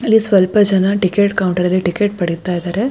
ಅಲ್ಲಿ ಸ್ವಲ್ಪ ಜನ ಟಿಕೆಟ್ ಕೌಂಟರ್ ಅಲ್ಲಿ ಟಿಕೆಟ್ ಪಡೀತಾಯಿದಾರೆ.